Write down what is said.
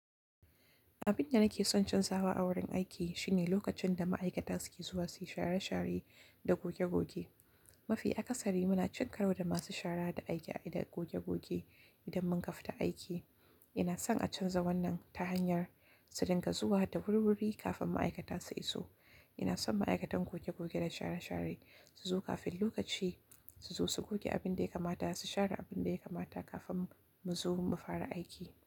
Abin da nake son canzawa a wurin aiki shine lokacin da ma'aikata suke zuwa suyi share share da goge goge. Mafiya kasari muna cinkarar da masu shara da aiki da goge goge idan mun kafta aiki. Ina son a canza wannan ta hanyar su dinga zuwa da wurwuri kafin ma'aikata su iso. Ina son ma'aikatan goge goge da share share su zo kafin lokaci su zo su goge abin da ya kamata su share abin da ya kamata kafin mu zo mu fara aiki.